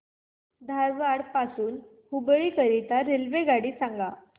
धारवाड पासून हुबळी करीता रेल्वेगाडी सांगा